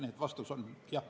Nii et vastus on jah.